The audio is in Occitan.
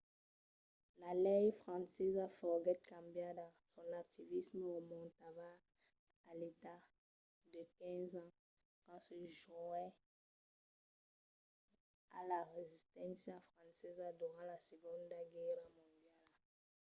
la lei francesa foguèt cambiada. son activisme remontava a l’edat de 15 ans quand se jonhèt a la resisténcia francesa durant la segonda guèrra mondiala